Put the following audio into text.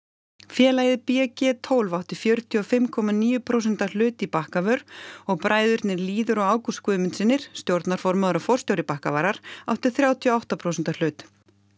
félagið b g tólf átti fjörutíu og fimm komma níu prósenta hlut í Bakkavör og bræðurnir Lýður og Ágúst stjórnarformaður og forstjóri Bakkavarar áttu þrjátíu og átta prósenta hlut